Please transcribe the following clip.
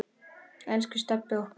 Elsku Stebbi okkar.